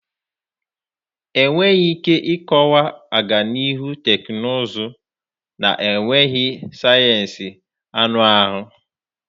Enweghị ike ịkọwa ọganihu teknụzụ na-enweghị sayensị anụ ahụ.